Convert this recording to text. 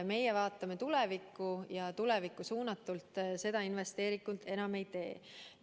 Meie vaatame tulevikku ja tulevikku suunatult seda investeeringut enam ei tee.